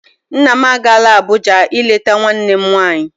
Nna m agaala Abụja ileta nwanne m nwanyi.